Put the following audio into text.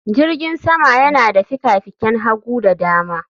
Jirgin sama yana da fikafikan hagu da dama